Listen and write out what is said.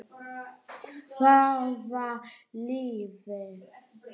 Hvaða liði?